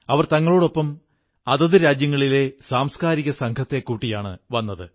അവർ തങ്ങളോടൊപ്പം അതത് രാജ്യങ്ങളിലെ സംസ്കാരികസംഘങ്ങളെ കൂട്ടിയാണു വന്നത്